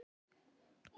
Já sú var nú tíðin.